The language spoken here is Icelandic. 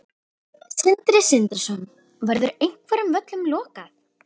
Sindri Sindrason: Verður einhverjum völlum lokað?